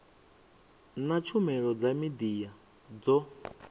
na tshumelo dza midia dzo